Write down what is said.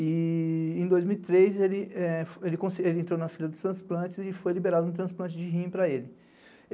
E em dois mil e três, ele entrou na fila dos transplantes e foi liberado no transplante de rim para ele.